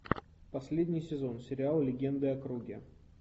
последний сезон сериал легенды о круге